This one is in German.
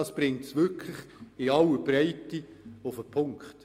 Das brachte es wirklich in aller Breite auf den Punkt.